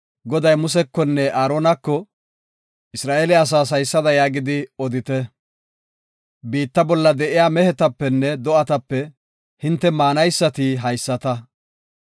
Isra7eele asaas haysada yaagidi odite; “Biitta bolla de7iya mehetapenne do7atape hinte maanaysati haysata;